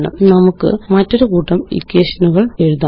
നമുക്ക് മറ്റൊരു കൂട്ടം ഇക്വേഷനുകള് എഴുതാം